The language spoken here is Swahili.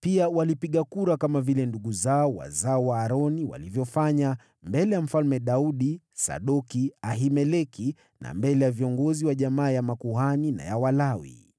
Pia walipiga kura kama vile ndugu zao wazao wa Aroni walivyofanya, mbele ya Mfalme Daudi, Sadoki, Ahimeleki na mbele ya viongozi wa jamaa ya makuhani na ya Walawi.